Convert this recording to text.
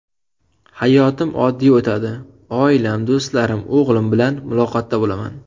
Hayotim oddiy o‘tadi, oilam, do‘stlarim, o‘g‘lim bilan muloqotda bo‘laman.